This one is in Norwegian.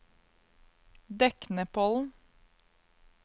Deknepollen